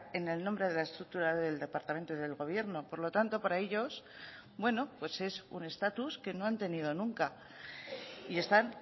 en el nombre de la estructura del departamento del gobierno por lo tanto para ellos bueno pues es un estatus que no han tenido nunca y están